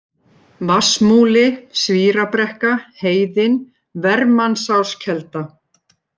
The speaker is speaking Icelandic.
Vatnsmúli, Svírabrekka, Heiðin, Vermannsáskelda